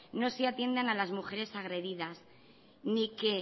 no se atiendan a las mujeres agredidas ni que